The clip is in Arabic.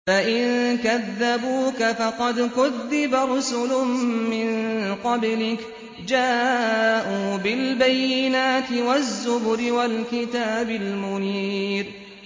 فَإِن كَذَّبُوكَ فَقَدْ كُذِّبَ رُسُلٌ مِّن قَبْلِكَ جَاءُوا بِالْبَيِّنَاتِ وَالزُّبُرِ وَالْكِتَابِ الْمُنِيرِ